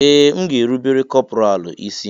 Ee! M ga-erubere kọpọraalụ isí.